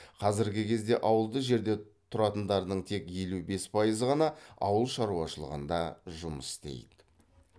қазіргі кезде ауылды жерде тұратындардың тек елу бес пайызы ғана ауыл шаруашылығында жұмыс істейді